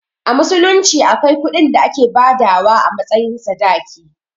A musulunci akwai kuɗin da ake badawa a matsayin sadaki.